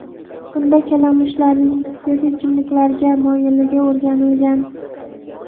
Bunda kalamushlarning spirtli ichimliklarga moyilligi o‘rganilgan.